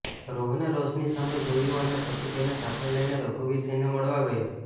રોહને રોશની સામે જોયું અને પછી તેને સાથે લઈને રઘુવીરસિંહને મળવા ગયો